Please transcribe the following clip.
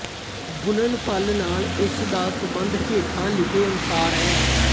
ਗੁਣਨਫਲ ਨਾਲ ਇਸ ਦਾ ਸੰਬੰਧ ਹੇਠਾਂ ਲਿਖੇ ਅਨੁਸਾਰ ਹੈ